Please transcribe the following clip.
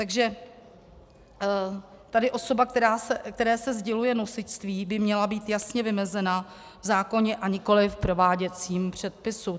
Takže tady osoba, které se sděluje nosičství, by měla být jasně vymezena v zákoně, a nikoliv v prováděcím předpisu.